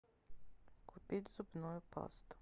купить зубную пасту